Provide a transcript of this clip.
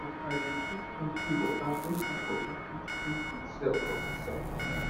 um i dey drink plenty water make my body fit clean itself from inside